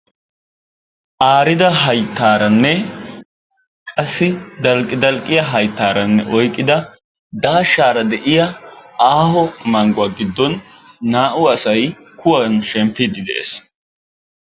Aarida hayttaaranne qassi dalqqi dalqqiya hayttaaranne oyqqida daashshaara de'iya mangguwa giddon naa"u asay kuwan shemppiiddi de'ees.